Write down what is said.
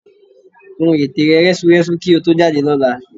Kún ète rẹ rẹ́súrẹ́sú kí o tó jáde lọ́la